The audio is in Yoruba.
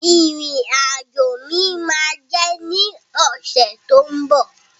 Ìrìn àjò mi ma jẹ ní ọsẹ ti o mbọ.